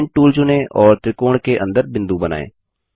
point tool चुनें और त्रिकोण के अंदर बिंदु बनाएँ